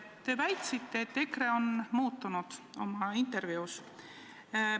Te väitsite ühes oma intervjuus, et EKRE on muutunud.